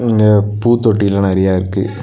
இங்க பூ தொட்டியல்லா நெறைய இருக்கு.